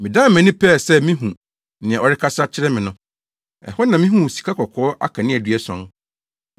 Medan mʼani, pɛɛ sɛ mihu nea ɔrekasa kyerɛ me no. Ɛhɔ na mihuu sikakɔkɔɔ akaneadua ason.